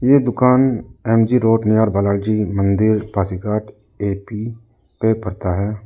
ये दुकान M G road near Balaji मंदिर पासीघाट ए_पी पे पड़ता है।